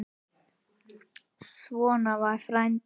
Svona var frændi.